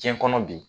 Diɲɛ kɔnɔ bi